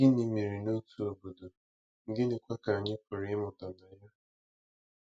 Gịnị mere n’otu obodo, gịnịkwa ka anyị pụrụ ịmụta na ya?